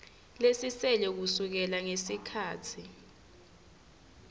lesisele kusukela ngesikhatsi